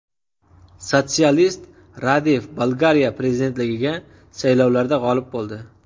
Sotsialist Radev Bolgariya prezidentligiga saylovlarda g‘olib bo‘ldi.